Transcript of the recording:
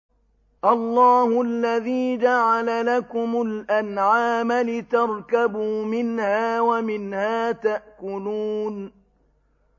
اللَّهُ الَّذِي جَعَلَ لَكُمُ الْأَنْعَامَ لِتَرْكَبُوا مِنْهَا وَمِنْهَا تَأْكُلُونَ